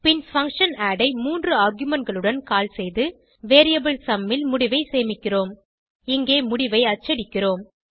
பின் function add ஐ மூன்று argument களுடன் கால் செய்து வேரியபிள் சும் ல் முடிவை சேமிக்கிறோம் இங்கே முடிவை அச்சடிக்கிறோம்